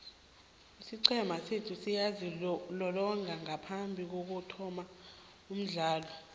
isiqhema sethu siyazilolonga ngaphambikokuthoma umdlalo